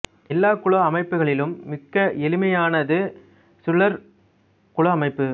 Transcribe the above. எல்லா குல அமைப்புகளிலும் மிக்க எளிமையானது சுழற் குல அமைப்பு